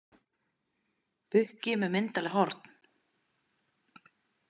Bukki með myndarleg horn.